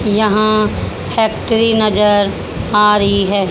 यहां फैक्ट्री नजर आ रही है।